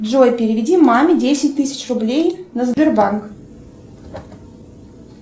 джой переведи маме десять тысяч рублей на сбербанк